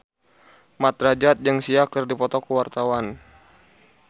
Mat Drajat jeung Sia keur dipoto ku wartawan